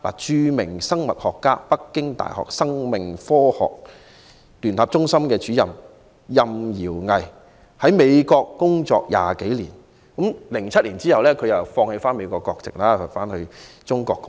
著名生物學家、北京大學生命科學聯合中心主任饒毅在美國工作20多年 ，2007 年他放棄美國國籍，回中國貢獻。